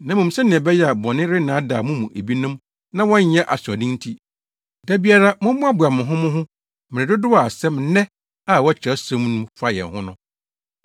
Na mmom sɛnea ɛbɛyɛ a bɔne rennaadaa mo mu ebinom na wɔnyɛ asoɔden nti, da biara mommoaboa mo ho mo ho wɔ mmere dodow a asɛm “Nnɛ” a ɛwɔ Kyerɛwsɛm mu no fa yɛn ho no.